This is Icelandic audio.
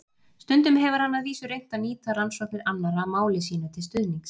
Stundum hefur hann að vísu reynt að nýta rannsóknir annarra máli sínu til stuðnings.